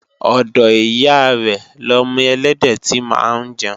ọ̀dọ̀ ìyá rẹ̀ lọmọ ẹlẹ́dẹ̀ tí máa ń jẹun